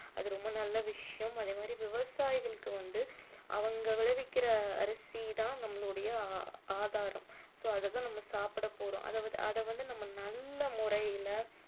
அது ரொம்ப நல்ல விஷயம் அதே மாதிரி விவசாயிகளுக்கு வந்து அவங்க விளைவிக்கிற அரிசி தான் நம்மளுடைய ஆதாரம் so அதை தான் நம்ம சாப்பிட போறோம் அதை வந்து அதை வந்து நம்ம நல்ல முறையில